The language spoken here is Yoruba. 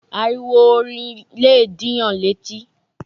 Ariwo orin lẹ̀ dìyàn létí